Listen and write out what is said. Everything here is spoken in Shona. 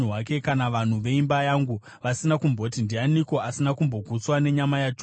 kana vanhu veimba yangu vasina kumboti, ‘Ndianiko asina kumbogutswa nenyama yaJobho?’